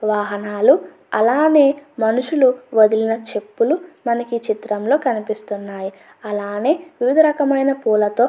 వాహనాలు అలానే మనుషులు వదిలిన చెప్పులు మనకి ఈ చిత్రంలో కనిపిస్తున్నాయి అలానే వివిధ రకమైన పూలతో --